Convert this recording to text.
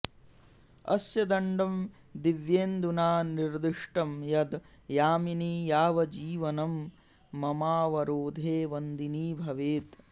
अस्य दण्डं दिव्येन्दुना निर्दिष्टं यद् यामिनी यावजीवनं ममावरोधे वन्दिनी भवेत्